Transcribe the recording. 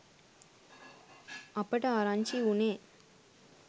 අපට ආරංචි වුණේ